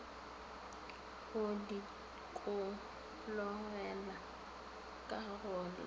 go dikologela ka go la